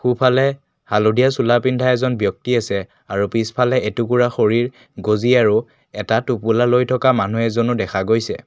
সোঁফালে হালধীয়া চোলা পিন্ধা এজন ব্যক্তি আছে আৰু পিছফালে এটুকুৰা খৰিৰ গজি আৰু এটা টোপোলা লৈ থকা মানুহ এজনো দেখা গৈছে।